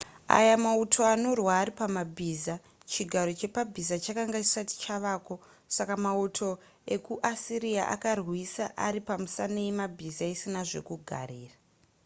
aya mauto anorwa ari pamabhiza chigaro chepabhiza chakanga chisati chavako saka mauto ekuasiriya akarwisa ari pamisana yemabhiza isina zvekugarira